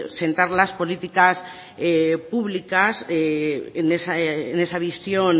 sentar las políticas públicas en esa visión